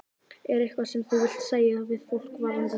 Er eitthvað sem þú vilt segja við fólk varðandi þá?